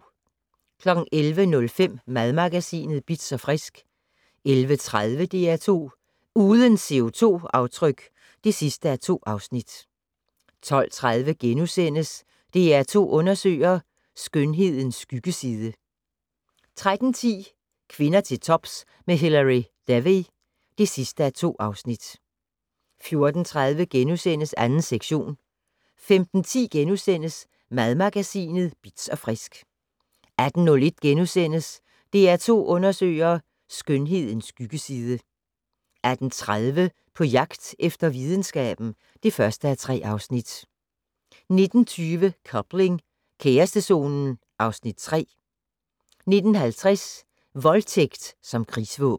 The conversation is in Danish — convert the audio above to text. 11:05: Madmagasinet Bitz & Frisk 11:30: DR2 Uden CO2-aftryk (2:2) 12:30: DR2 Undersøger: Skønhedens skyggeside * 13:10: Kvinder til tops med Hilary Devey (2:2) 14:30: 2. sektion * 15:10: Madmagasinet Bitz & Frisk * 18:01: DR2 Undersøger: Skønhedens skyggeside * 18:30: På jagt efter videnskaben (1:3) 19:20: Coupling - kærestezonen (Afs. 3) 19:50: Voldtægt som krigsvåben